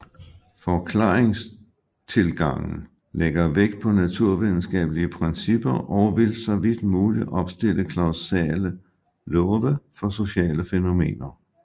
Forklaringstilgangen lægger vægt på naturvidenskabelige principper og vil for så vidt muligt opstille kausale love for sociale fænomener